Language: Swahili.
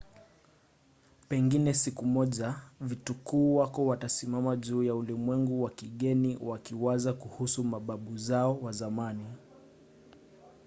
pengine siku moja vitukuu wako watasimama juu ya ulimwengu wa kigeni wakiwaza kuhusu mababu zao wa zamani?